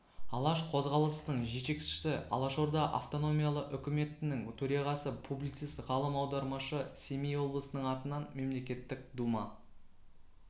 алаш қозғалысының жетекшісі алашорда автономиялы үкіметінің төрағасы публицист ғалым аудармашы семей облысының атынан мемлекеттік дума